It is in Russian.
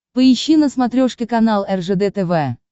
поищи на смотрешке канал ржд тв